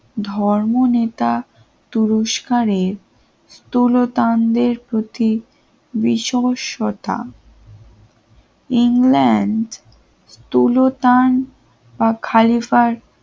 ধর্ম নেতা পুরস্কারের স্থূলতান্ডের প্রতি বিষম সতা ইংল্যান্ড তুলসন বা খালিফার